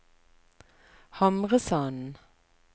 Hamresanden